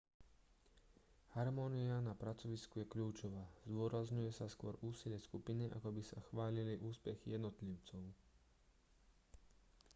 harmónia na pracovisku je kľúčová zdôrazňuje sa skôr úsilie skupiny ako by sa chválili úspechy jednotlivcov